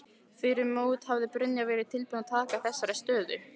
Fyrir mót hefði Brynjar verið tilbúinn að taka þessari stöðu?